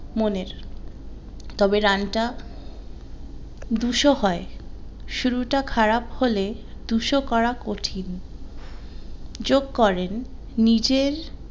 মনের তবে রানটা দুশো হয় শুরুটা খারাপ হলে দুশো করা কঠিন যোগ করেন নিজের